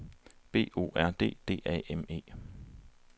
B O R D D A M E